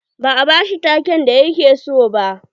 Ba a ba shi take'n da ya ke so ba.